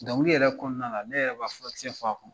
Dɔnkili yɛrɛ kɔnɔna na ne yɛrɛ bi ka fɔlisen fɔ a kɔnɔ .